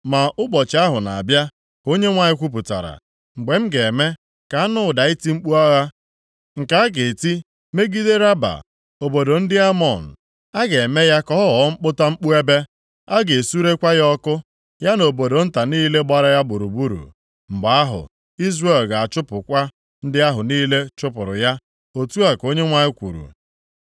Ma ụbọchị ahụ na-abịa,” ka Onyenwe anyị kwupụtara, “mgbe m ga-eme ka a nụ ụda iti mkpu agha, nke a ga-eti megide Raba, obodo ndị Amọn. A ga-eme ya ka ọ ghọọ mkputamkpu ebe. A ga-esurekwa ya ọkụ, ya na obodo nta niile gbara ya gburugburu. Mgbe ahụ Izrel ga-achụpụkwa ndị ahụ niile chụpụrụ ya.” Otu a ka Onyenwe anyị kwuru.